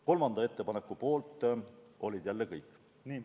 Kolmanda ettepaneku poolt olid jälle kõik.